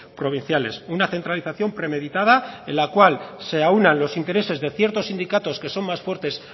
provinciales una centralización premeditada en la cual se aúnan los intereses de ciertos sindicatos que son más fuertes